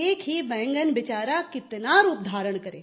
एक ही बैंगन बिचारा कितना रूप धारण करे